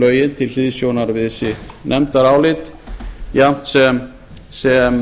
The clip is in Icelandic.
fjárreiðulögin til hliðsjónar við sitt nefndarálit jafnt sem